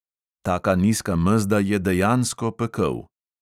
Taka nizka mezda je dejansko pekel.